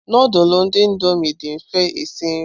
Nudulu ndi indomii dị mfe esi nri.